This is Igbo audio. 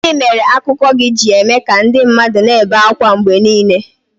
Gịnị mere akụkọ gị ji eme ka ndị mmadụ na-ebe ákwá mgbe niile?